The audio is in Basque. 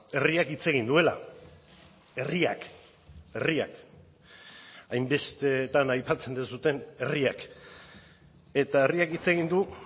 herriak hitz egin duela herriak herriak hainbestetan aipatzen duzuen herriak eta herriak hitz egin du